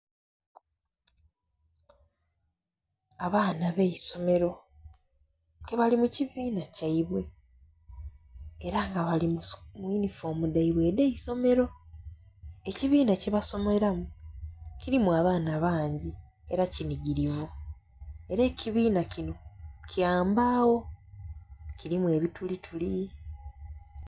Abaana abeisomero ke bali mukibina kyaibwe era nga bali muyunifoomu dhaibwe edhaisomero, ekibina kyebasomeramu kirimu abaana bangi era kinigirivu era ekibina kino kyambagho kirimu ebitulituli.